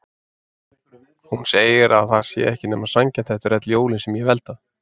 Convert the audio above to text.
Hún segir að það sé ekki nema sanngjarnt eftir öll jólin sem ég hef eldað.